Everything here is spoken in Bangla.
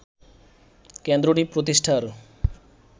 কেন্দ্রটি প্রতিষ্ঠার